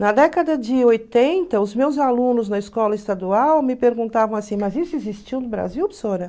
Na década de oitenta, os meus alunos na escola estadual me perguntavam assim, mas isso existiu no Brasil,